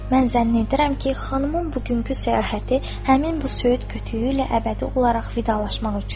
Mən zənn edirəm ki, xanımın bugünkü səyahəti həmin bu söyüd kötüyü ilə əbədi olaraq vidalaşmaq üçündür.